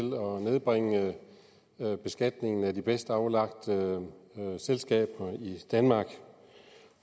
nedbringe beskatningen af de bedst aflagte selskaber i danmark